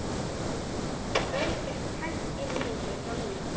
Örn gekk hægt inn í húsið hjá Lúlla.